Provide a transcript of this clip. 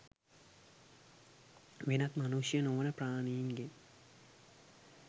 වෙනත් මනුෂ්‍ය නො වන ප්‍රාණීන් ගෙන්